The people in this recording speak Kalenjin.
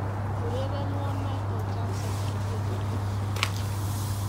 urerenwon Michael Jackson eng tienywogikyuk